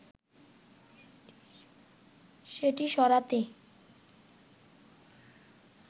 সেটি সরাতে”